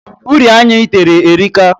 Uri anya ị tere erika.